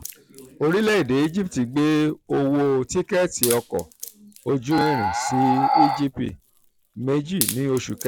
orílẹ̀-èdè egypt gbé owó tikẹ́ẹ̀tì ọkọ̀ ojú irin sí egp méjì ní oṣù kẹta.